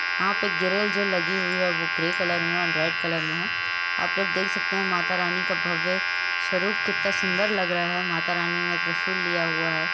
यहां पर ग्रिल जो लगी हुई है वह ग्रे कलर में और रेड कलर में है आप लोग देख सकते हैं माता रानी का भव्य स्वरूप कितना सुंदर लग रहा है माता रानी ने त्रिशूल लिया हुआ है।